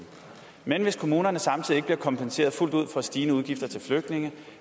men hvis kommunerne samtidig ikke bliver kompenseret fuldt ud for stigende udgifter til flygtninge